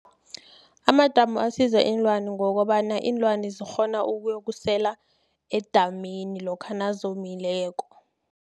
Amadamu asiza iinlwani ngokobana, iinlwani zikghona ukuyokusela, edamini lokha nazomileko.